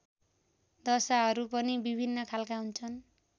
दशाहरू पनि विभिन्न खालका हुन्छन्